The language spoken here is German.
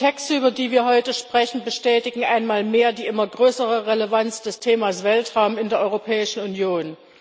Die Texte, über die wir heute sprechen, bestätigen einmal mehr die immer größere Relevanz des Themas Weltraum in der Europäischen Union.